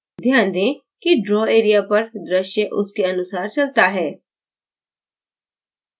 ध्यान दें कि draw area पर द्रश्य उसके अनुसार चलता है